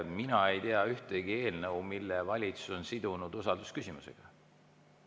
Mina ei tea ühtegi eelnõu, mille valitsus oleks sidunud usaldusküsimusega.